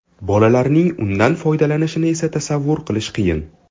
Bolalarning undan foydalanishini esa tasavvur qilish qiyin.